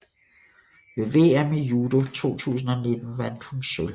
Ved VM i judo 2019 vandt hun sølv